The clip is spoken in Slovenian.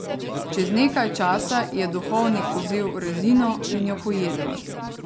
Čez nekaj časa je duhovnik vzel rezino in jo pojedel.